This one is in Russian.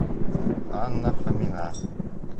анна фомина